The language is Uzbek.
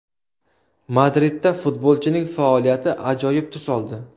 Madridda futbolchining faoliyati ajoyib tus oldi.